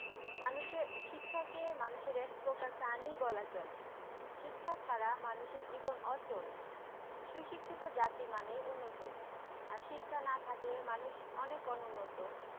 শিক্ষাকে মানুষের এক প্রকার শিক্ষাকে প্রাণী বলা চলে, শিক্ষা ছাড়া মানুষের জীবন অচল সুশিক্ষিত জাতি মানেই উন্নত আর শিক্ষা না থাকলে মানুষ অনেক উন্নত